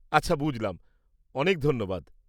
আচ্ছা, বুঝলাম। অনেক ধন্যবাদ।